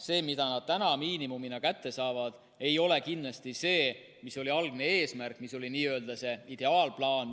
See, mida nad miinimumina kätte saavad, ei ole kindlasti see, mis oli algne eesmärk, mis oli n‑ö ideaalplaan.